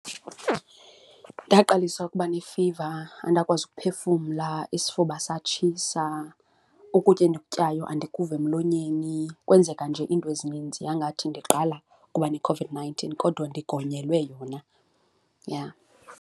Ndaqalisa ukuba nefiva andakwazi uphefumla, isifuba satshisa, ukutya endikutyayo andakuva emlonyeni. Kwenzeka nje iinto ezininzi yangathi ndiqala ukuba neCOVID-nineteen kodwa ndigonyelwe yona, yha.